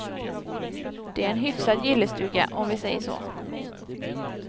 Det är en hyfsad gillestuga, om vi säger så.